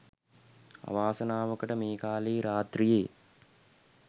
අවාසනාවකට මේ කාලේ රාත්‍රියේ